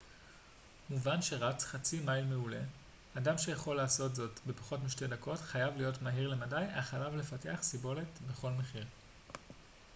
מובן שרץ חצי-מייל מעולה אדם שיכול לעשות זאת בפחות משתי דקות חייב להיות מהיר למדי אך עליו לפתח סיבולת בכל מחיר